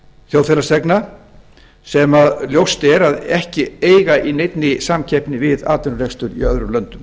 þjóðfélagsþegna sem ljóst er að ekki eiga í neinni samkeppni við atvinnurekstur í öðrum löndum